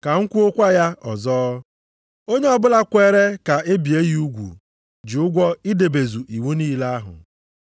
Ka m kwuokwa ya ọzọ, onye ọbụla kweere ka e bie ya ugwu ji ụgwọ idebezu iwu niile ahụ.